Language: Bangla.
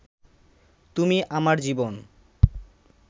তুমি আমার জীবন